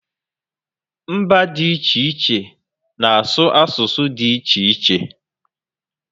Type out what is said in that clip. Mba dị iche iche na asụ asụsụ dị iche iche